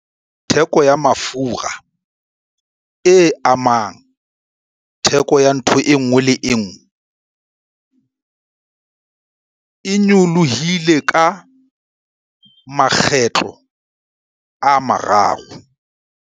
Theko ya mafura, e amang theko ya ntho e nngwe le e nngwe, e nyolohile ka makgetlo a mararo.